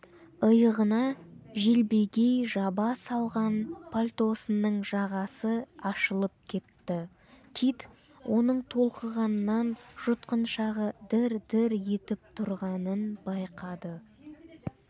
иығына желбегей жаба салған пальтосының жағасы ашылып кетті кит оның толқығаннан жұтқыншағы дір-дір етіп тұрғанын байқады